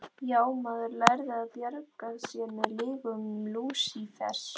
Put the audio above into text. Já, maður lærði að bjarga sér með lygum Lúsífers.